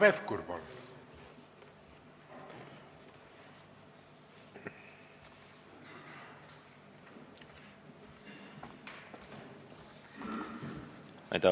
Hanno Pevkur, palun!